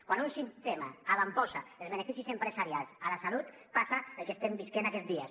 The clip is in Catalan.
quan un sistema avantposa els beneficis empresarials a la salut passa el que estem vivint aquests dies